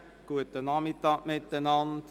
Guten Nachmittag zusammen.